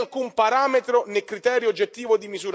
Che possiamo dire della vostra affinità politica?